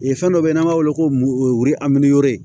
fɛn dɔ bɛ yen n'an b'a wele ko aminaw ye